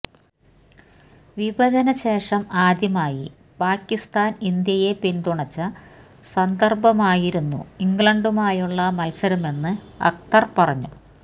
വിഭജനശേഷം ആദ്യമായി പാക്കിസ്ഥാന് ഇന്ത്യയെ പിന്തുണച്ച സന്ദര്ഭമായിരുന്നു ഇംഗ്ലണ്ടുമായുള്ള മത്സരമെന്ന് അക്തര് പറഞ്ഞു